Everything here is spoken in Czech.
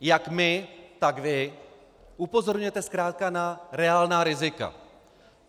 Jak my, tak vy upozorňujete zkrátka na reálná rizika.